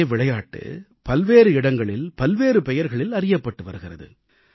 ஒரே விளையாட்டு பல்வேறு இடங்களில் பல்வேறு பெயர்களில் அறியப்பட்டு வருகிறது